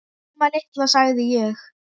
Mamma litla, sagði ég.